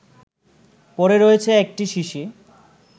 পড়ে রয়েছে একটা শিশি